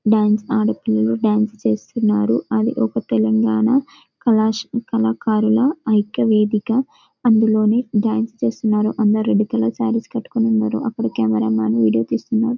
Dance ఆడపిల్లలు dance చేస్తున్నారు అది ఒక తెలంగాణ కళాశాల కళాకారుల వేదిక అందులోని డాన్స్ చేస్తున్నారు పిల్లలు డాన్స్ చేస్తున్నారు అందులో అందరు రెడ్ కలర్ సారీ కట్టుకున్నారు అక్కడి కెమెరామెన్ వీడియో తీస్తున్నారు.